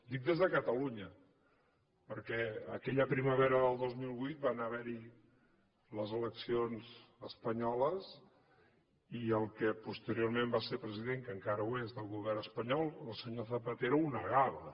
dic des de catalunya perquè aquella primavera del dos mil vuit van haver hi les eleccions espanyoles i el que posteriorment va ser president que encara ho és del govern espanyol el senyor zapatero ho negava